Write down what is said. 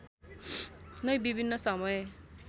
नै विभिन्न समय